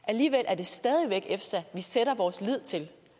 alligevel er det stadig væk efsa vi sætter vores lid til